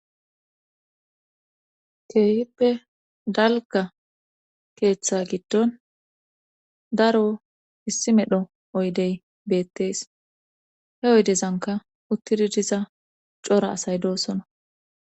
keehippe dalga keeththa giddon daro issi medho oydey beettees he oydezanka uttidi diza cora asay doossoona